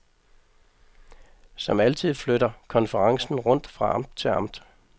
Som altid flytter konferencen rundt fra amt til amt.